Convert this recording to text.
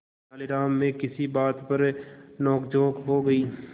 तेनालीराम में किसी बात पर नोकझोंक हो गई